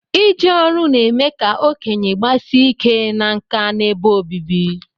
Ije ọru na-eme ka okenye gbasie ike na nka n'ebe obibi